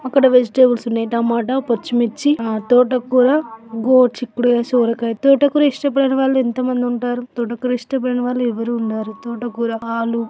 అక్కడ వెజిటల్స్ ఉన్నాయి టమాటో పచ్చిమిర్చి తోటకూర గోరు.చిక్కుడుకాయ సొరకాయ తోటకూర ఇష్టపడనివారు. ఎంత మంది ఉంటారు.. తోటకూర ఇష్టపడని వారు. ఎవరు. ఉండరు.. తోటకూర ఆలూ --